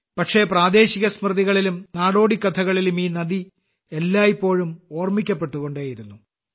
പക്ഷേ പ്രദേശിക സ്മൃതികളിലും നാടോടിക്കഥകളിലും ഈ നദി എല്ലായ്പ്പോഴും ഓർമ്മിക്കപ്പെട്ടുകൊണ്ടേയിരുന്നു